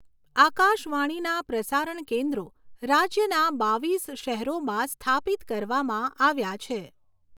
આકાશવાણીના પ્રસારણ કેન્દ્રો રાજ્યના બાવીસ શહેરોમાં સ્થાપિત કરવામાં આવ્યા છે.